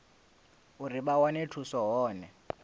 uri vha wane thuso hone